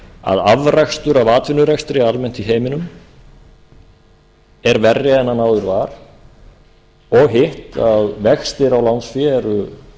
að afrakstur af atvinnurekstri almennt í heiminum er verri en hann áður var og hitt að vextir á lánsfé eru